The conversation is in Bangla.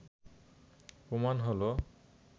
প্রমাণ হলো